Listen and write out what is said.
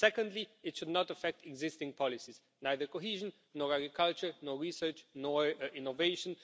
Secondly, it should not affect existing policies neither cohesion nor agriculture nor research nor innovation.